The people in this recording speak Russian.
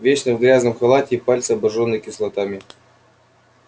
вечно в грязном халате и пальцы обожжены кислотами